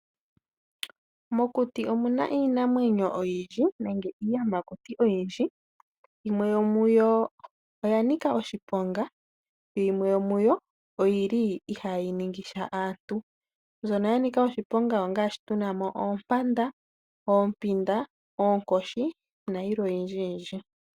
Mokuti omu na iinamwenyo oyindji nenge iiyamakuti oyindji. Yimwe yomuyo oya nika oshiponga , yimwe yomuyo oyi li ihayi ningisha aantu. Mbyono ya nika oshiponga ongaashi tu na mo oompanda, oompinda, oonkoshi nayilwe oyindjiyindji.